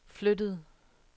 flyttede